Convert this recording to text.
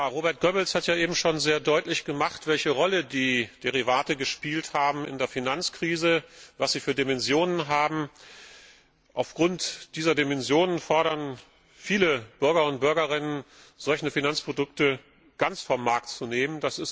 Robert Goebbels hat ja eben schon sehr deutlich gemacht, welche Rolle die Derivate in der Finanzkrise gespielt haben, welche Dimensionen sie haben. Aufgrund dieser Dimensionen fordern viele Bürger und Bürgerinnen, solche Finanzprodukte ganz vom Markt zu nehmen.